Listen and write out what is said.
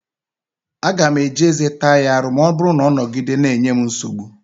Aga m eji ezé m taa ya arù ma ọ bụrụ na ọ nogide na-enye m nsogbu.